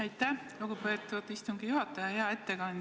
Aitäh, lugupeetud istungi juhataja!